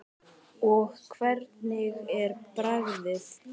Og hvernig er bragðið?